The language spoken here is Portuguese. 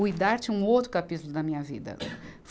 O Idarte é um outro capítulo da minha vida.